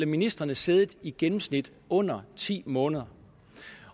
ministrene siddet i gennemsnit under ti måneder